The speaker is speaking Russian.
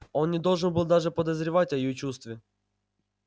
он не должен был даже подозревать о её чувстве